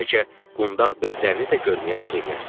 Bəlkə qundaq bezlərini də görməyə arzu eləyərsiz.